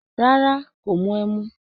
Rárá, kò mu ẹmu